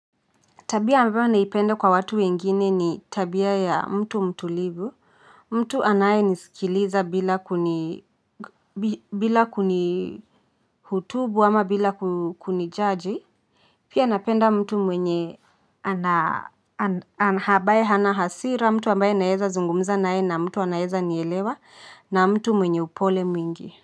Tabia ambayo naipenda kwa watu wengine ni tabia ya mtu mtulivu, mtu anaye nisikiliza bila kuni hutubu ama bila kuni judge. Pia napenda mtu mwenye ana habaye hana hasira, mtu ambaye naeza zungumza nae na mtu anayeza nielewa na mtu mwenye upole mwingi.